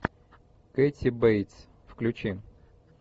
кэти бейтс включи